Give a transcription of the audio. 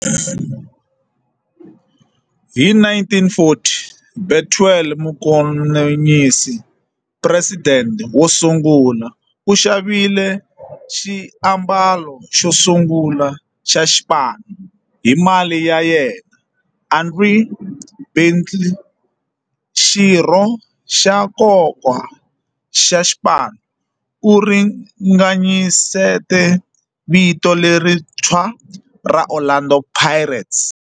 Hi 1940, Bethuel Mokgosinyane, president wosungula, u xavile xiambalo xosungula xa xipano hi mali ya yena. Andrew Bassie, xirho xa nkoka xa xipano, u ringanyete vito lerintshwa ra 'Orlando Pirates'.